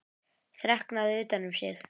Þreknað utan um sig.